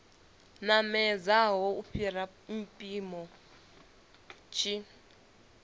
namedzaho u fhira mpimo tshi